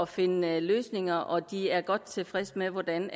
finde løsninger og de er godt tilfreds med hvordan